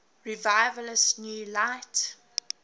revivalist new light